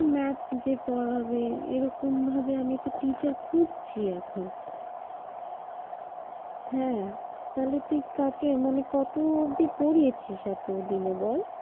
আমি math যে পড়াবে এরকম ভাবে আমি তো teacher খুঁজছি এখন। হ্যাঁ তাহলে তুই কাকে মানে কত অব্দি পড়িয়েছিস এতোদিনে বল।